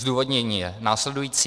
Zdůvodnění je následující.